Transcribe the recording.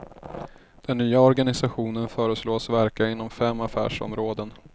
Den nya organisationen föreslås verka inom fem affärsområden.